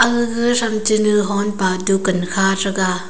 agag tham che honpa dukaan kha thega.